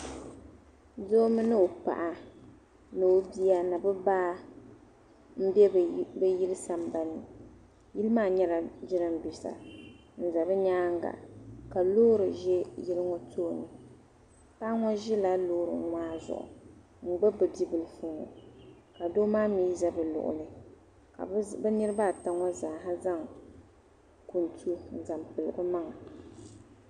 Doo mini ɔ paɣa ni ɔbiya ni bi baa ni be bi yili san ban ni yili maa nyɛla jiran bisa n za bi nyaaŋa ka lɔɔri ʒɛ yinɔ tooni paɣa ŋɔ ʒila lɔɔri maa zuɣu n gbubi b i bibilifuŋɔ ka doo maa mi ʒɛbi luɣili ka bi niribi ata ŋɔ zaa zaŋ minti n pili bi maŋa